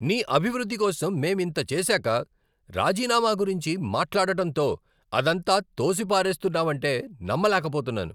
నీ అభివృద్ధి కోసం మేం ఇంత చేసాక, రాజీనామా గురించి మాట్లాడటంతో అదంతా తోసిపారేస్తున్నవంటే నమ్మలేకపోతున్నాను.